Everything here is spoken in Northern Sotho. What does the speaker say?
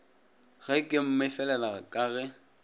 ge ke mmefelela ka ge